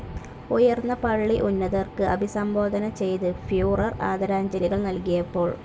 ഉയർന്ന പള്ളി ഉന്നതർക്ക് അഭിസംബോധന ചെയ്ത് ഫ്യൂറർ ആദരാജ്ഞലികൾ നൽകിയപ്പോൾ.